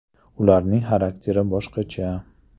Ularning xarakteri boshqacha.